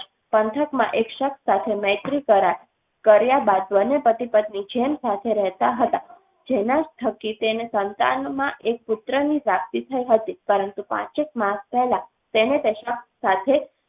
પંથકમાં એક શખ્સ સાથે મૈત્રીકરાર કર્યા બાદ બંને પતિ પત્ની જેમ સાથે રહેતા હતા જેના થકી તેને સંતાનમાં એક પુત્ર ની પ્રાપ્તિ થઈ હતી પરંતુ પાંચેક માસ પહેલા તેને તેનાં સાથે